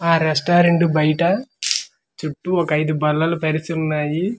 ఆ రెస్టారెంట్ బయట చుట్టూ ఒక ఐదు బల్లలు పరిచి ఉన్నాయి .]